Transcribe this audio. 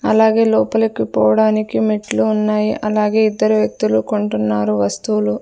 అలాగే లోపలికి పోవడానికి మెట్లు ఉన్నాయ్ అలాగే ఇద్దరు వ్యక్తులు కొంటున్నారు వస్తువులు--